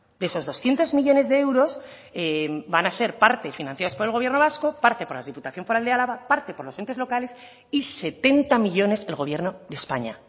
de esos doscientos millónes de euros van a ser parte financiados por el gobierno vasco parte por la diputación foral de álava parte por los entes locales y setenta millónes el gobierno de españa